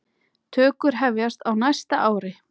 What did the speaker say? Tökur hefjast á næsta ári.